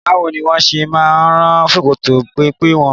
Báwo ni wọ́n ṣe máa ń rán ṣòkòtò pẹ́mpẹ́ wọn?